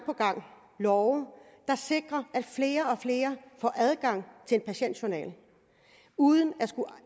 love der sikrer at flere og flere får adgang til en patientjournal uden at skulle